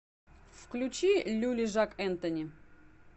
включи люли жак энтони